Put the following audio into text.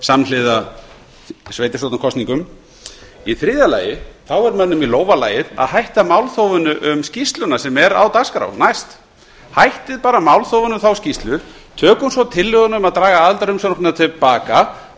samhliða sveitarstjórnarkosningum í þriðja lagi er mönnum í lófa lagið að hætta málþófinu um skýrsluna sem er á dagskrá næst hættum bara málþófinu um þá skýrslu tökum svo tillöguna um að draga aðildarumsóknina til baka